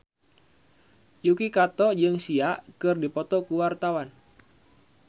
Yuki Kato jeung Sia keur dipoto ku wartawan